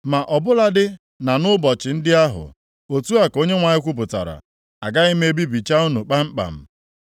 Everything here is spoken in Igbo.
“Ma ọ bụladị na nʼụbọchị ndị ahụ,” otu a ka Onyenwe anyị kwupụtara, “Agaghị m ebibicha unu kpamkpam.